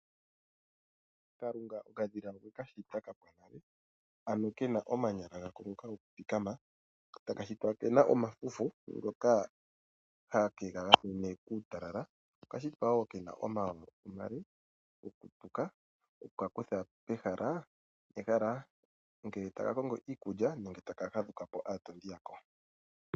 Kalunga okadhila okwe kashita kapwa nale ano kena omanyala gako ngoka gokuthikama ko taka shitwa kena omafufu ngoka hage kagamene kuutalala. Oka shitwa wo kena omawawa omale gokutuka oku kakutha pehala nehala ngele taka kongo iikulya nenge ngele taka fadhukapo aatondi yako.